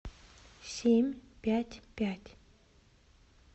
семь пять пять